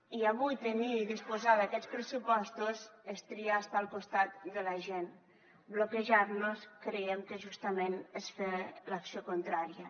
i avui tenir i disposar d’aquests pressupostos és triar estar al costat de la gent bloquejar los creiem que justament és fer l’acció contrària